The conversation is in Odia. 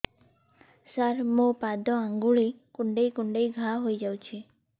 ସାର ମୋ ପାଦ ଆଙ୍ଗୁଳି କୁଣ୍ଡେଇ କୁଣ୍ଡେଇ ଘା ହେଇଯାଇଛି